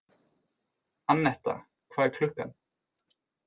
Annetta, hvað er klukkan?